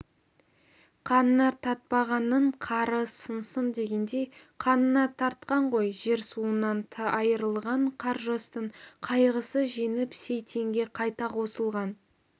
қанына тартпағанның қары сынсын дегендей қанына тартқан ғой жер-суынан айырылған қаржастың қайғысы жеңіп сейтенге қайта қосылған